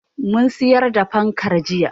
Mun siyar da fankar jiya.